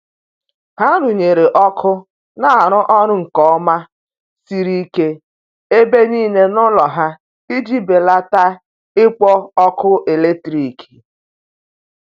ha runyere ọkụ na arụ orụ nke oma siri ike ebe nile n'ulo ha iji belata ikpo ọkụ eletrikị